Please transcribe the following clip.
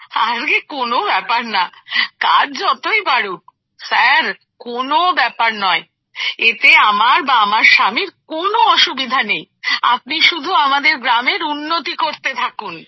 আরে কোন ব্যাপার নয় কাজ যতই বাড়ুক স্যার কোন ব্যাপার নয় এতে আমার বা আমার স্বামীর কোন অসুবিধা নেই আপনি শুধু আমাদের গ্রামের উন্নতি করতে থাকুন